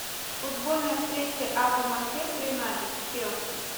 футбольная встреча апл манчестер юнайтед с челси